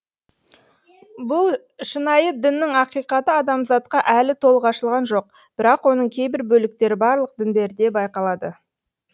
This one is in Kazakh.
бұл шынайы діннің ақиқаты адамзатқа әлі толық ашылған жоқ бірақ оның кейбір бөліктері барлық діндерде байқалады